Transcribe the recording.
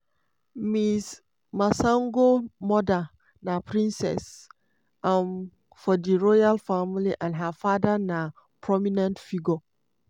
ms masango mother na princess um for di royal family and her father na prominent figure.